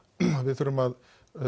við þurfum að